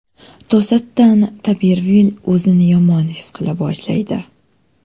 To‘satdan Tarbervill o‘zini yomon his qila boshlaydi.